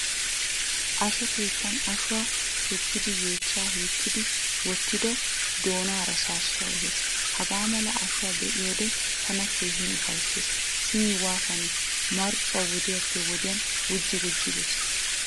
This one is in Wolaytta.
Ashuwaa keettan ashshuwaa shukkidi yeechchan hiixidi wottido doonaara saasuwaa ehees. Hagaamala ashuwaa be'iyode tana keehin ufayssees. Simi waatanne marccuwaa wodiyappe wodiyaan gujji gujji bees.